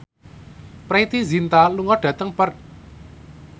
Preity Zinta lunga dhateng Perth